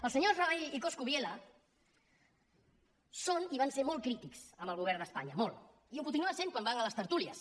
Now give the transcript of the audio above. els senyors rabell i coscubiela són i van ser molt crítics amb el govern d’espanya molt i ho continuen sent quan van a les tertúlies